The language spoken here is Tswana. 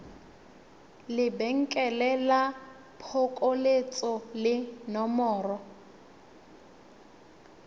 lebenkele la phokoletso le nomoro